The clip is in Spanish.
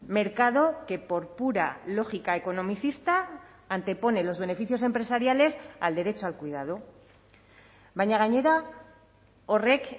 mercado que por pura lógica economicista antepone los beneficios empresariales al derecho al cuidado baina gainera horrek